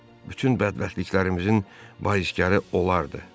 Bütün bədbəxtliklərimizin baiskarı onlardır.